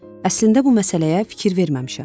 Əslində bu məsələyə fikir verməmişəm.